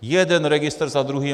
Jeden registr za druhým.